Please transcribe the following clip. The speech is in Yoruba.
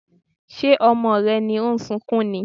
Ṣé ọmọ rẹ ni ó ń sunkún ni?